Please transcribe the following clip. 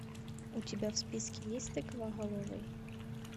у тебя в списке есть тыквоголовый